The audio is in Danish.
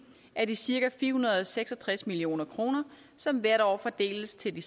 af de cirka fire hundrede og seks og tres million kr som hvert år fordeles til de